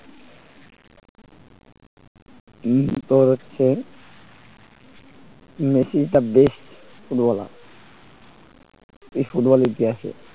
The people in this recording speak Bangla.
তোর হচ্ছে Messi is the best footballer এই ফুটবল ইতিহাসে